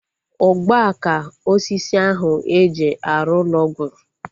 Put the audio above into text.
Ugbua ka osisi ahu eji arụ ụlọ gwụrụ